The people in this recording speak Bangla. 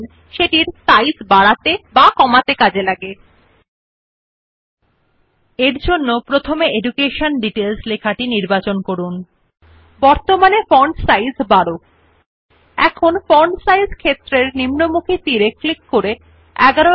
নাম সুপারিশ ফন্ট সাইজ বা বৃদ্ধি হয় নির্বাচিত লেখার আকার হ্রাস ব্যবহৃত বা নতুন টেক্সট যা আপনি টাইপ ইচ্ছুক ফন্টের আকার নির্ধারণ করা হয় As the name suggests font size is used to increase or decrease the size of either the selected text or sets the size of the font of the new text which you wish to type